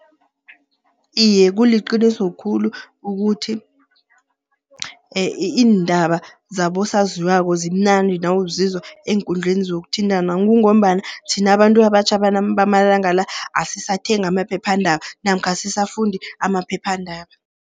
Iye kuliqiniso khulu ukuthi, iindaba zabosaziwako zimnandi nawuzizwa eenkundleni zokuthintana. Kungombana thina abantu abatjha bamalanga la, asisathengi amaphephandaba namkha asisafundi amaphephandaba.